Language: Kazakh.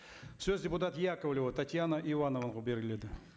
сөз депутат яковлева татьяна ивановнаға беріледі